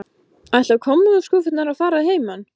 Ætla kommóðuskúffurnar að fara að heiman?